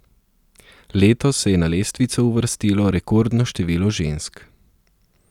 Letos se je na lestvico uvrstilo rekordno število žensk.